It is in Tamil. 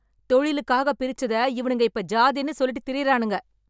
தொழிலுக்காக பிரிச்சத இவனுங்க இப்ப ஜாதின்னு சொல்லிட்டு திரியறானுங்க.